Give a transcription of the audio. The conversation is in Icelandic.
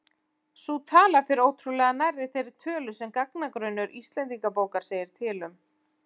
Sú tala fer ótrúlega nærri þeirri tölu sem gagnagrunnur Íslendingabókar segir til um.